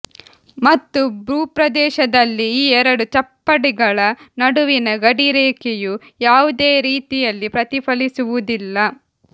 ಮತ್ತು ಭೂಪ್ರದೇಶದಲ್ಲಿ ಈ ಎರಡು ಚಪ್ಪಡಿಗಳ ನಡುವಿನ ಗಡಿರೇಖೆಯು ಯಾವುದೇ ರೀತಿಯಲ್ಲಿ ಪ್ರತಿಫಲಿಸುವುದಿಲ್ಲ